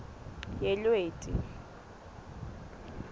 yelweti